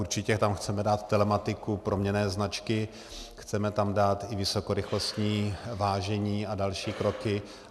Určitě tam chceme dát telematiku, proměnné značky, chceme tam dát i vysokorychlostní vážení a další kroky.